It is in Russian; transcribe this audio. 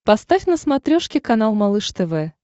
поставь на смотрешке канал малыш тв